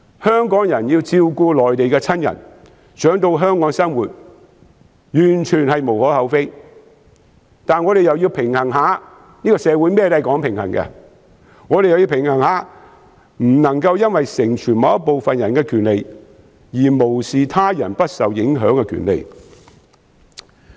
香港人要照顧內地的親人，他們想到香港生活，完全無可厚非，但我們也要平衡一下——社會甚麼也講求平衡——不能因為成全某部分人的權利，而無視他人不受影響的權利。